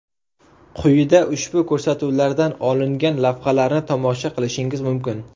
Quyida ushbu ko‘rsatuvlardan olingan lavhalarni tomosha qilishingiz mumkin.